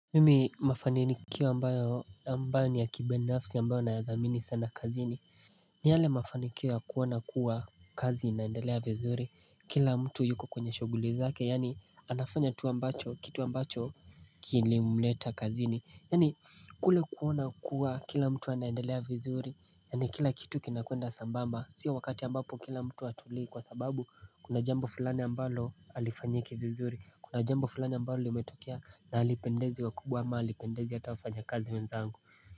Mimi mafanikiwo ambayo ambayo ni ya kibeneafsi ambayo naa dhamini sana kazini ni hale mafanikiwo kuona kuwa kazi inaendelea vizuri kila mtu yuko kwenye shuguli zake yani anafanya tu ambacho kitu ambacho kilimleta kazini Yani kule kuona kuwa kila mtu wa naendelea vizuri Yani kila kitu kinakuenda sambamba Sio wakati ambapo kila mtu hatulii kwa sababu kuna jambo fulani ambalo alifanyiki vizuri Kuna jambo fulani ambalo liumetokia na halipendezi wa kubwa ama halipendezi atafanya kazi wenzangu.